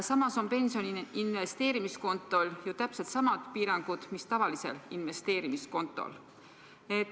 Samas on pensioni investeerimiskontol ju täpsed samad piirangud mis tavalisel investeerimiskontol.